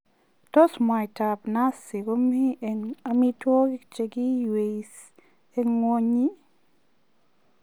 Tos mwaitab nazi komi eng amitwogik che giiwei eng ngwonyi?